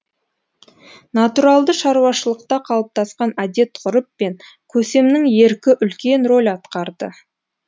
натуралды шаруашылықта қалыптасқан әдет ғұрып пен көсемнің еркі үлкен рөл атқарды